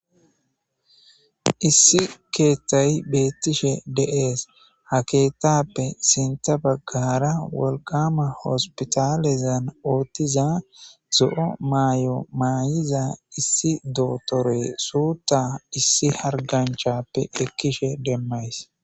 issi keethtayi beettishe deees ha keetappe sinta baggara wolqama hospitalezan oottiza zo7o maay7o maayiza issi dootore suuta issi harganchappe ekkishe demmays